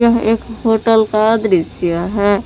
यह एक होटल का दृश्य है।